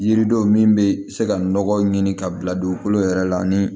Yiridenw min bɛ se ka nɔgɔw ɲini ka bila dugukolo yɛrɛ la ni